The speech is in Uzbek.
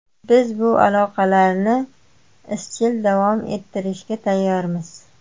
Biz bu aloqalarni izchil davom ettirishga tayyormiz”.